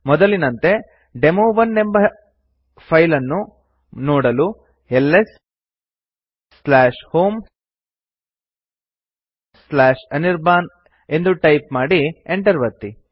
ಮೊದಲಿನಂತೆ ಡೆಮೊ1 ಎಂಬ ಫೈಲ್ ಅನ್ನು ನೋಡಲು lshomeಅನಿರ್ಬಾನ್ ಎಂದು ಟೈಪ್ ಮಾಡಿ enter ಒತ್ತಿ